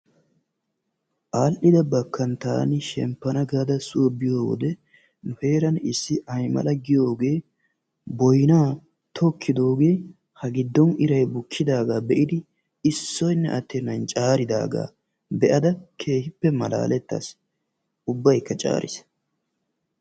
Al"ida bakkaan taani shemppana gaada soo biyoode nu heeran issi aymal giyoogee boynaa tokkidoogee ha giddon iray bukkidaagaa be'idi issoynne attenan caaridaagaa keehippe malaalettays. ubbayka caariis.